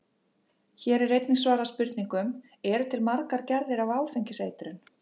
Hér er einnig svarað spurningunum: Eru til margar gerðir af áfengiseitrun?